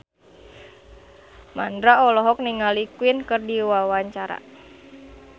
Mandra olohok ningali Queen keur diwawancara